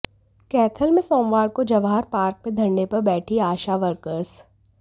कैथल में सोमवार को जवाहर पार्क में धरने पर बैठी आशा वर्कर्स